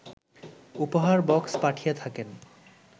উপহার বক্স পাঠিয়ে থাকেন